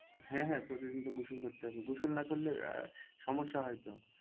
হ্যাঁ হ্যাঁ প্রতিদিন তো গোসল করতে হবে গোসল না করলে আহ সমস্যা হয় তো।